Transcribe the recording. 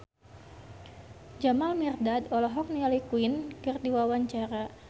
Jamal Mirdad olohok ningali Queen keur diwawancara